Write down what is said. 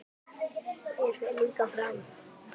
Þér fer líka fram.